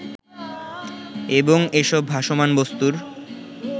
এবং এসব ভাসমান বস্তুর